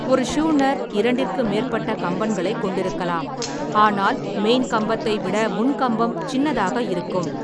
ஒரு ஷூனர் இரண்டிற்கு மேற்பட்ட கம்பன்களைக் கொண்டிருக்கலாம் ஆனால் மெயின்கம்பத்தை விட முன்கம்பம் சின்னதாக இருக்கும்.